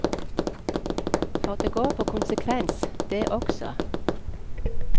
For det går på konsekvens, det også.